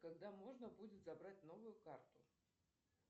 когда можно будет забрать новую карту